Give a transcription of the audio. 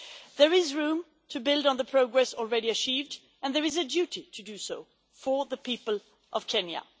There is room to build on the progress already achieved, and there is a duty to do so for the people of Kenya.